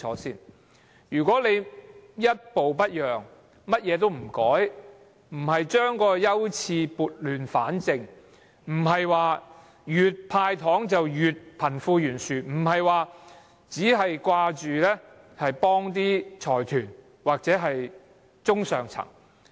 政府不應一步不讓，甚麼也不改，不把優次撥亂反正，越"派糖"便令貧富懸殊越嚴重，只顧幫助財團或中上層。